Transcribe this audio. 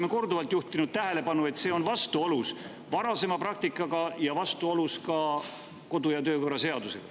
Me oleme korduvalt juhtinud tähelepanu, et see on vastuolus varasema praktikaga ja ka kodu- ja töökorra seadusega.